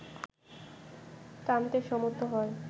টানতে সমর্থ হয়